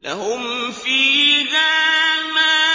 لَّهُمْ فِيهَا مَا